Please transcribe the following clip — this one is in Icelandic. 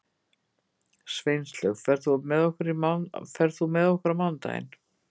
Sveinlaug, ferð þú með okkur á mánudaginn?